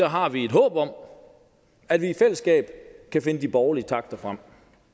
har vi et håb om at vi i fællesskab kan finde de borgerlige takter frem